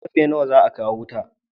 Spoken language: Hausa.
Karfe nawa za a kawo wuta?